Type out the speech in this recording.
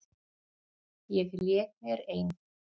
Ég lék mér ein.